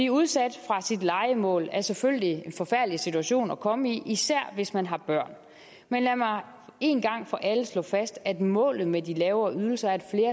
udsat fra sit lejemål er selvfølgelig en forfærdelig situation at komme i især hvis man har børn men lad mig en gang for alle slå fast at målet med de lavere ydelser er at